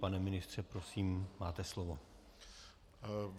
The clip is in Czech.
Pane ministře, prosím, máte slovo.